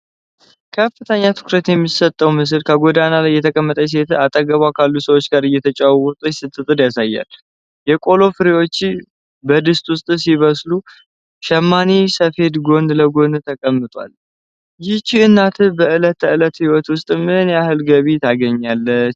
ከፍተኛ ትኩረት የሚስበው ምስል፣ በጎዳና ላይ የተቀመጠች ሴት አጠገቧ ካሉ ሰዎች ጋር እየተጨዋወተች ስትጥድ ያሳያል። የቆሎ ፍሬዎች በድስት ውስጥ ሲበስሉ፣ ሸማኔ ሰፌድ ጎን ለጎን ተቀምጧል። ይህች እናት በዕለት ተዕለት ሕይወት ውስጥ ምን ያህል ገቢ ታገኛለች?